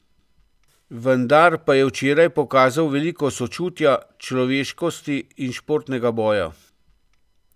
Vendar pa je včeraj pokazal veliko sočutja, človeškosti in športnega boja.